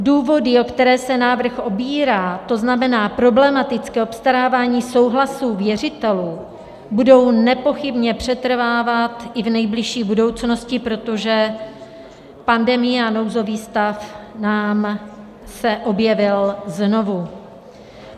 Důvody, o které se návrh opírá, to znamená problematické obstarávání souhlasů věřitelů, budou nepochybně přetrvávat i v nejbližší budoucnosti, protože pandemie a nouzový stav se nám objevily znovu.